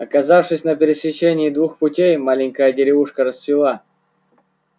оказавшись на пересечении двух путей маленькая деревушка расцвела